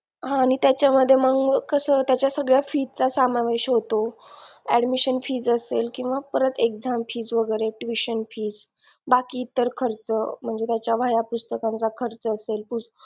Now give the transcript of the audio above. हा आणि मंग कस त्याच्या सगळ्या fees चा समावेश होतो admission fees असेल किंवा परत exam fees वगैरे tuition fees बाकी इतर खर्च म्हणजे त्याचा वह्या पुस्तकांचा खर्च असेल